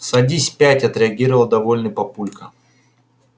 садись пять отреагировал довольный папулька